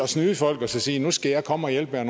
snyde folk og så sige at nu skal jeg komme og hjælpe jer